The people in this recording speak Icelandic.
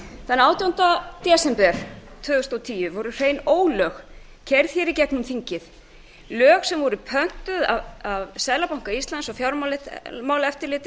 þann átjánda desember tvö þúsund og tíu voru hrein ólög keyrð í gegnum þingið lög sem voru pöntuð af seðlabanka íslands og